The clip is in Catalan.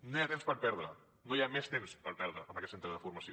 no hi ha temps per perdre no hi ha més temps per perdre amb aquest centre de formació